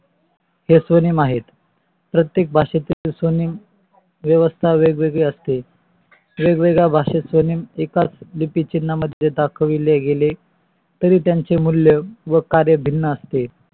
हे स्वनेम आहेत. प्रत्येक भाषे मध्ये स्वनेम व्यावास्ता वेगवेगळी असते. वेगवेगळ्या भाषेत स्वनेम एकाच चिन्हा मध्ये दाखविले गेले तरी त्याचे मूल्य व कार्य भिन्न असते.